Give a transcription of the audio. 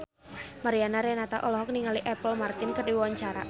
Mariana Renata olohok ningali Apple Martin keur diwawancara